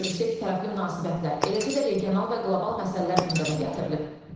Görüşdə ikitərəfli münasibətlər, eləcə də regional və qlobal məsələlər gündəmə gətirilib.